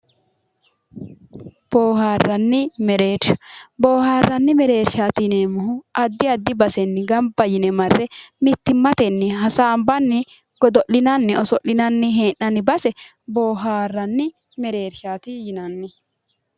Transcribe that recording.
Booharranni mereershsha, boohaarranni mereershaati yineemmohu addi addi basenni gamba yine marre mittimmatenni hasaanbanni godo'linanni oso'linanni hee'nanni base boohaarranni mereershaati.